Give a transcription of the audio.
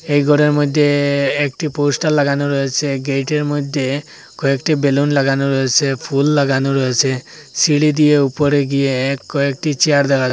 এই ঘরের মইধ্যে একটি পোস্টার লাগানো রয়েছে গেইটের মধ্যে কয়েকটি বেলুন লাগানো রয়েছে ফুল লাগানো রয়েছে সিঁড়ি দিয়ে উপরে গিয়ে কয়েকটি চেয়ার দেখা--